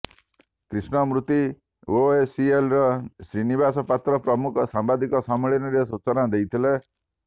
କ୍ରିଷ୍ଣମୂର୍ତି ଆଓସିଏଲ୍ର ଶ୍ରୀନିବାସ ପାତ୍ର ପ୍ରମୁଖ ସାମ୍ବାଦିକ ସମ୍ମିଳନୀରେ ସୂଚନା ଦେଇଥିଲେ